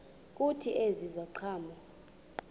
kuthi ezi ziqhamo